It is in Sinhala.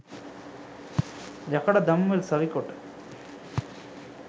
යකඩ දම්වැල් සවිකොට